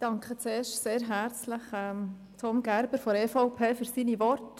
Ich danke als Erstes Tom Gerber von der EVP sehr herzlich für seine Worte.